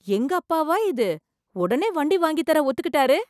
எங்க அப்பாவா இது, உடனே வண்டி வாங்கித்தர ஒத்துக்கிட்டாரு!